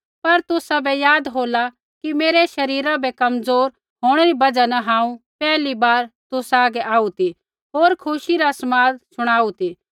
पर तुसाबै याद होला कि मेरै शरीरा रै कमज़ोर होंणै री बजहा न हांऊँ पैहली बार तुसा हागै आऊ ती होर खुशी रा समाद शणाऊ ती